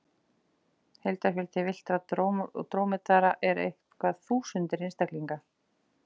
Heildarfjöldi villtra drómedara eru einhverjar þúsundir einstaklinga.